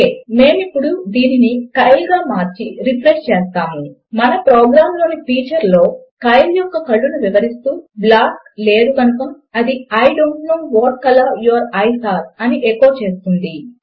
ఒకే మేము ఇప్పుడు దీనిని కైల్ గా మార్చి రిఫ్రెష్ చేస్తాము మన ప్రోగ్రాము లోని ఫీచర్ లో కైల్ యొక్క కళ్ళను వివరిస్తూ బ్లాక్ లేదు కనుక అది I don't know what colour your eyes are అని ఎకో చేస్తుంది